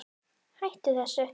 Hættu þessu